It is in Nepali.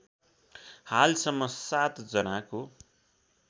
हालसम्म ७ जनाको